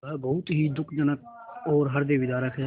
वह बहुत ही दुःखजनक और हृदयविदारक है